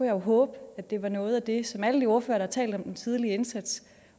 jeg håbe at det var noget af det som alle de ordførere der har talt om en tidlig indsats